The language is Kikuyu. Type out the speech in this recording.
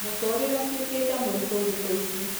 Mũtũrĩre ũtũĩkĩte mũritũthikũici